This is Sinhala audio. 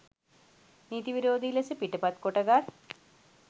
නීති විරෝධී ලෙස පිටපත් කොටගත්